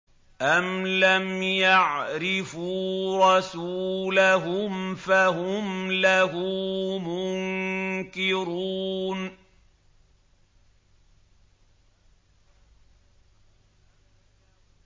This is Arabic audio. أَمْ لَمْ يَعْرِفُوا رَسُولَهُمْ فَهُمْ لَهُ مُنكِرُونَ